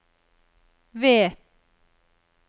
ved